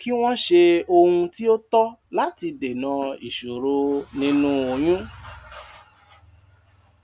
kí wọ́n ṣe ohun tí ó tọ́ láti dèna ìṣòro nínú oyún.